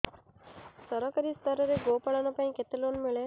ସରକାରୀ ସ୍ତରରେ ଗୋ ପାଳନ ପାଇଁ କେତେ ଲୋନ୍ ମିଳେ